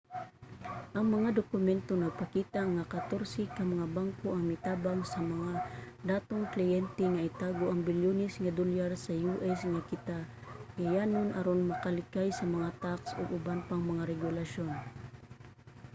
ang mga dokumento nagpakita nga katorse ka mga banko ang mitabang sa mga datong kliyente nga itago ang bilyones nga dolyar sa us nga katigayonan aron makalikay sa mga tax ug uban pang mga regulasyon